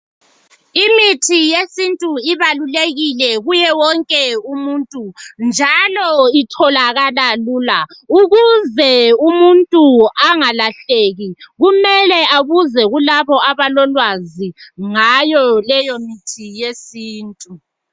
Imithi yesintu ibalulekile kuye wonke umuntu njalo itholakala lula. Ukuze umuntu angalahleki kumele abuze kulabo abalolwazi ngayo leyo mithi yesintu.